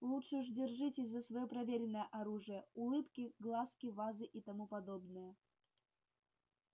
лучше уж держитесь за своё проверенное оружие улыбки глазки вазы и тому подобное